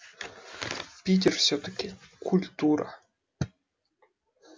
питер всё-таки культура